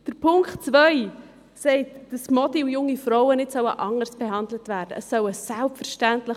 Punkt zwei sagt, dass Mädchen und junge Frauen nicht anders behandelt werden sollen.